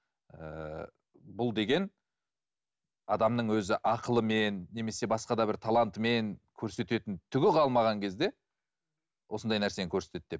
ііі бұл деген адамның өзі ақылымен немесе басқа да бір талантымен көрсететін түгі қалмаған кезде осындай нәрсені көрсетеді деп